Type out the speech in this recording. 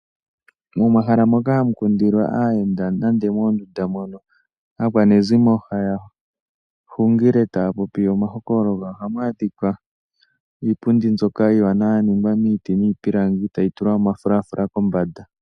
Momahala moka hamu kundilwa aayenda nenge mondunda mono aakwanezimo haya hungile taya popi omahokololo, ohamu adhikwa iipundi mbyoka iiwanawa yaningwa miiti niipilangi etayi tulwa omafulafula kombanda.